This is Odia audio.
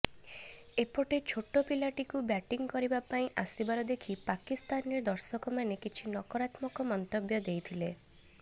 ଏପଟେ ଛୋଟ ପିଲାଟିକୁ ବ୍ୟାଟିଂ କରିବା ପାଇଁ ଆସିବାର ଦେଖି ପାକିସ୍ତାନରେ ଦର୍ଶକମାନେ କିଛି ନକାରାତ୍ମକ ମନ୍ତବ୍ୟ ଦେଇଥିଲେ